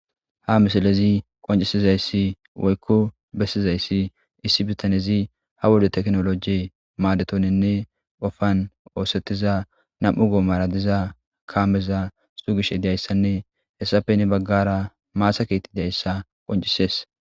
Ha misalezi qoncisizayssi woykko bessizayssi issi bitanezi ha wodo teknoloji maadetoninne qofan oosettiza nam'u goomara diza kaameza sugish diyayssanne hessapeni baggara maasakieti dayssa qoncisees.